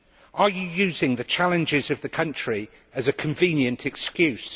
Are you using the challenges of the country as a convenient excuse?